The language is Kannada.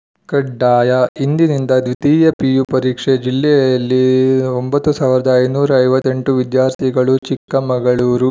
ಕಡ್ಡಾಯ ಇಂದಿನಿಂದ ದ್ವಿತೀಯ ಪಿಯು ಪರೀಕ್ಷೆ ಜಿಲ್ಲೆಯಲ್ಲಿ ಒಂಬತ್ತ್ ಸಾವಿರದ ಐದುನೂರ ಐವತ್ತ್ ಎಂಟು ವಿದ್ಯಾರ್ಥಿಗಳು ಚಿಕ್ಕಮಗಳೂರು